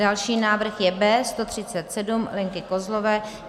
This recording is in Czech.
Další návrh je B137 Lenky Kozlové.